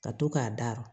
Ka to k'a daru